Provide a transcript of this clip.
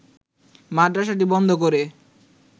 মাদ্রাসাটি বন্ধ করে